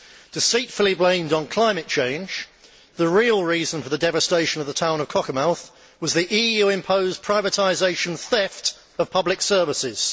Deceitfully blamed on climate change, the real reason for the devastation of the town of Cockermouth was the EU imposed privatisation theft of public services.